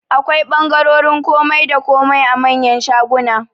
Akwai ɓangarorin komai da komai a manyan shaguna